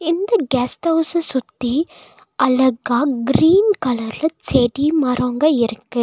இந்த கெஸ்ட் ஹவுஸ்ஸ சுத்தி அழகா க்ரீன் கலர்ல செடி மரோங்க இருக்கு.